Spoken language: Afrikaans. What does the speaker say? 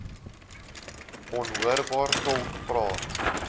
onhoorbaar tolk praat